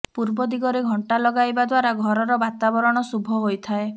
ପୂର୍ବ ଦିଗରେ ଘଣ୍ଟା ଲଗାଇବା ଦ୍ୱାରା ଘରର ବାତାବରଣ ଶୁଭ ହୋଇଥାଏ